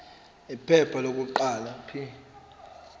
iphepha lokuqala p